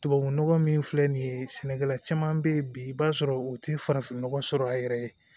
Tubabunɔgɔ min filɛ nin ye sɛnɛkɛla caman bɛ yen bi i b'a sɔrɔ u tɛ farafin nɔgɔ sɔrɔ a yɛrɛ ye